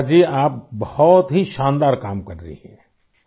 شریشا جی ، آپ بہت ہی شاندار کام کررہی ہیں